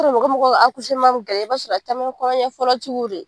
bɛ gɛlɛya i b'a sɔrɔ a caman ye kɔnɔyafɔlɔtigiw de ye.